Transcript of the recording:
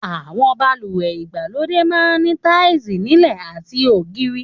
Àwọn balùwẹ̀ ìgbàlódé máa ń ní táìsì nílẹ̀ àti ògiri